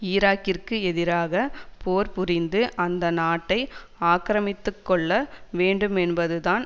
ஈராக்கிற்கு எதிராக போர் புரிந்து அந்த நாட்டை ஆக்கிரமித்துக்கொள்ள வேண்டுமென்பது தான்